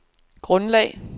grundlag